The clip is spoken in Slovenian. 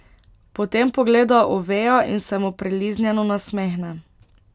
Potem pogleda Oveja in se mu priliznjeno nasmehne.